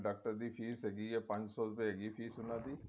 doctor ਦੀ fess ਹੈਗੀ ਏ ਪੰਜ ਸੋ ਰੁਪਏ ਹੈਗੀ ਏ fess ਉਹਨਾ ਦੀ